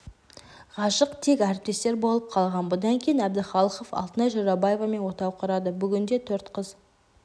ғашық тек әріптестер болып қалған бұдан кейін әбдіхалықов алтынай жорабаевамен отау құрады бүгінде төрт қыз